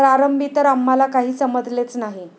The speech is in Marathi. प्रारंभी तर आम्हाला काही समजलेच नाही.